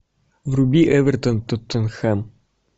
вруби эвертон тоттенхэм